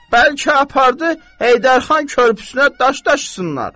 Bəlkə apardı Heydər xan körpüsünə daş daşısınlar?